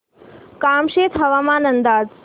कामशेत हवामान अंदाज